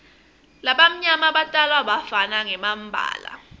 labamnyama batalwa bafana ngembala